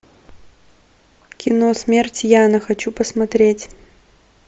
кино смерть яна хочу посмотреть